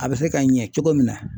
A bɛ se ka ɲɛ cogo min na.